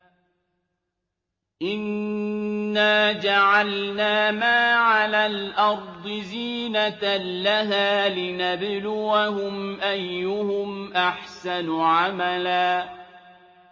إِنَّا جَعَلْنَا مَا عَلَى الْأَرْضِ زِينَةً لَّهَا لِنَبْلُوَهُمْ أَيُّهُمْ أَحْسَنُ عَمَلًا